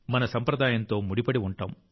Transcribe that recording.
మన సంప్రదాయంతో ముడిపడి ఉంటాం